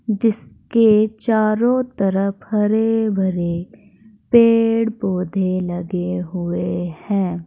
जिसके चारों तरफ हरे भरे पेड़ पौधे लगे हुए हैं।